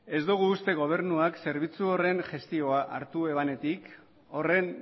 ez dugu uste gobernuak zerbitzu horren gestioa hartu ebanetik horren